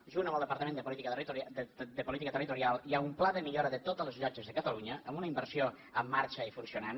junt amb el departament de política territorial hi ha un pla de millora de totes les llotges de catalunya amb una inversió en marxa i funcionant